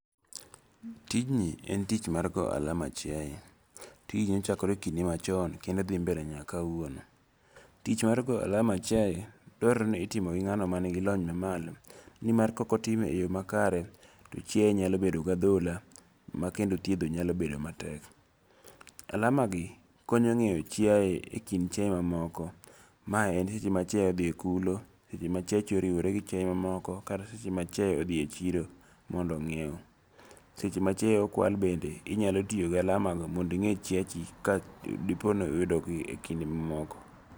Tijni en tich mar goyo ahala mar chiaye, tijni ne ochakore kinde machon kendo thi mbele nyaka kawuono, tich mar goyo alama chiaye dwarore ni itimo gi nga'no manigilony mamalo ni mar ka okotime e yo makare to chiaye nyalo bedo gi athola ma kendo thietho nyalo bedo matek, alamagi konyo ngeyo chiaye kind chiaye mamoko mae en seche ma chiaye othi kulo, seche ma chiachi oriwore gi chiaye ma moko, kata seche ma chiaye othie chiro mondo ingi'ewo, seche ma chiaye okwal bende inyalo tiyo gi alamago mondo inge' chiachi ka dipo ni oyude e kinde ma moko.